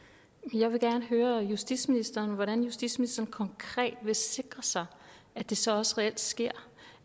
jeg vil gerne høre justitsministeren hvordan justitsministeren konkret vil sikre sig at det så også reelt sker